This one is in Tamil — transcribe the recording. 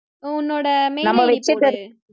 உன்னோட mail id போடு